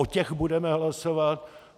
O těch budeme hlasovat.